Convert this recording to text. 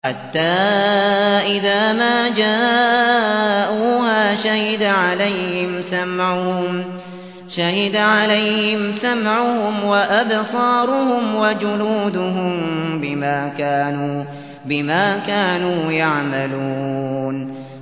حَتَّىٰ إِذَا مَا جَاءُوهَا شَهِدَ عَلَيْهِمْ سَمْعُهُمْ وَأَبْصَارُهُمْ وَجُلُودُهُم بِمَا كَانُوا يَعْمَلُونَ